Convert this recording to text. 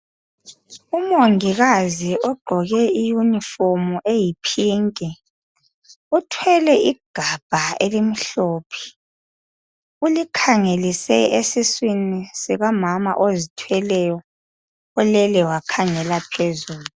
Umongikazi ogqoke iuniform eyipink uthwele igabha elimhlophe ulikhangelise esiswini sikamama ozithweleyo olele wakhangela phezulu.